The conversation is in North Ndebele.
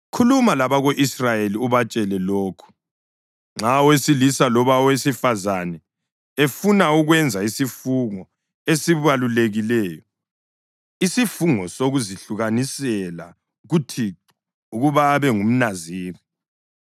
“Khuluma labako-Israyeli ubatshele lokhu: ‘Nxa owesilisa loba owesifazane efuna ukwenza isifungo esibalulekileyo, isifungo sokuzahlukanisela kuThixo ukuba abe ngumNaziri,